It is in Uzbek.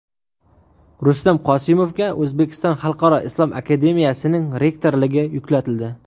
Rustam Qosimovga O‘zbekiston xalqaro islom akademiyasining rektorligi yuklatildi.